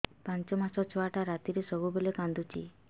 ପାଞ୍ଚ ମାସ ଛୁଆଟା ରାତିରେ ସବୁବେଳେ କାନ୍ଦୁଚି